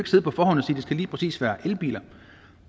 det lige præcis skal være elbiler